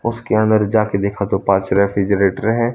उसके अंदर जा के देखा तो पांच रेफ्रिजरेटर हैं।